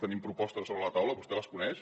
tenim propostes sobre la taula vostè les coneix